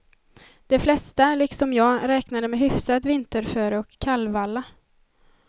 De flesta, liksom jag, räknade med hyfsat vinterföre och kallvalla.